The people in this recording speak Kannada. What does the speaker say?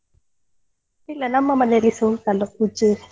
ಇಲ್ಲ ನಮ್ಮ ಮನೇಲಿಸ ಉಂಟಲ್ಲ ಪೂಜೆ.